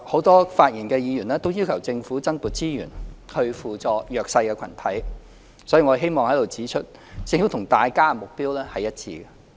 多位發言的議員均要求政府增撥資源，以扶助弱勢群體，所以我希望在此指出，政府與大家的目標一致。